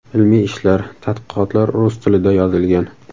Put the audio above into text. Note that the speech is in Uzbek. Ilmiy ishlar, tadqiqotlar rus tilida yozilgan.